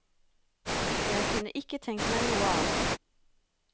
Jeg kunne ikke tenkt meg noe annet.